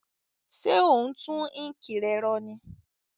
Sé o n tun ink re ro ní